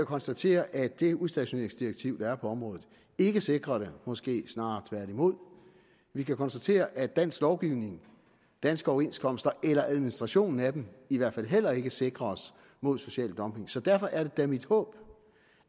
konstatere at det udstationeringsdirektiv der er på området ikke sikrer det måske snarere tværtimod vi kan konstatere at dansk lovgivning danske overenskomster eller administrationen af dem i hvert fald heller ikke sikrer os mod social dumping så derfor er det da mit håb